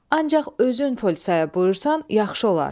Ancaq özün polisaya buyursan, yaxşı olar.